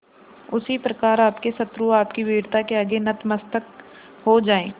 उसी प्रकार आपके शत्रु आपकी वीरता के आगे नतमस्तक हो जाएं